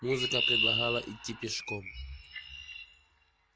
музыка предлагала идти пешком